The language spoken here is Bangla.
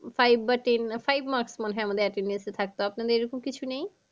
Five বা ten, five marks মনে হয় আমাদের attendance এ থাকতো আপনাদের এরম কিছু নেই?